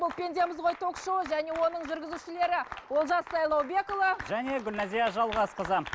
бұл пендеміз ғой ток шоуы және оның жүргізушілері олжас сайлаубекұлы және гүлназия жалғасқызы